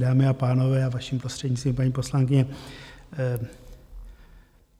Dámy a pánové, a vaším prostřednictvím, paní poslankyně.